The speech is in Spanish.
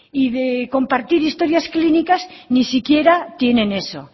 y de compartir historias clínicas ni siquiera tienen eso